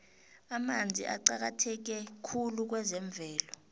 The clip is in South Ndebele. amanzi aqakatheke khulu kwezemvelo